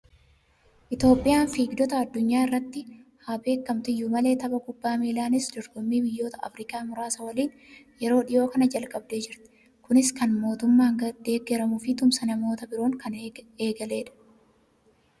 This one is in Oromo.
Itoophiyaan fiigdotaan addunyaa irratti haa beekamtu iyyuu malee, tapha kubbaa miilaanis dorgommii biyyoota Afirikaa muraasa waliin yeroo dhiyoo kana jalqabdee jirti. Kunis kan mootummaan deeggaramee fi tumsa namoota biroon kan eegaledha.